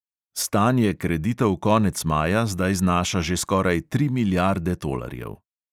Stanje kreditov konec maja zdaj znaša že skoraj tri milijarde tolarjev.